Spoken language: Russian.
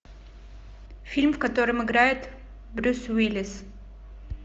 фильм в котором играет брюс уиллис